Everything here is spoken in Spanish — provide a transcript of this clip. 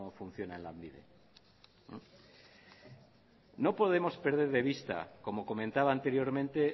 funciona en lanbide no podemos perder de vista como comentaba anteriormente